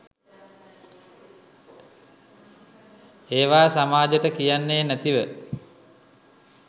ඒවා සමාජෙට කියන්නේ නැතිව